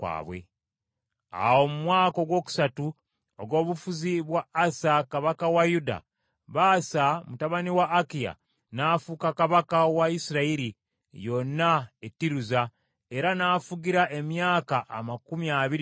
Awo mu mwaka ogwokusatu ogw’obufuzi bwa Asa kabaka wa Yuda, Baasa mutabani wa Akiya n’afuuka kabaka wa Isirayiri yonna e Tiruza, era n’afugira emyaka amakumi abiri mu ena.